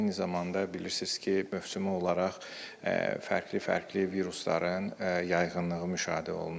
Eyni zamanda bilirsiniz ki, mövsümü olaraq fərqli-fərqli virusların yayğınlığı müşahidə olunur.